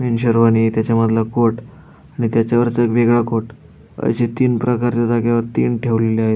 तीन शेरवाणी त्याच्यामधला कोट आणि त्याच्यावरचा वेगळा कोट असे तीन प्रकारच्या जागेवर तीन ठेवलेले आहेत.